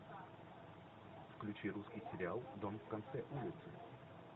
включи русский сериал дом в конце улицы